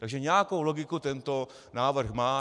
Takže nějakou logiku tento návrh má.